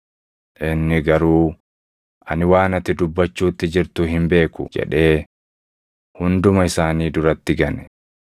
Inni garuu, “Ani waan ati dubbachuutti jirtu hin beeku” jedhee hunduma isaanii duratti gane.